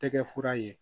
Tɛ kɛ fura ye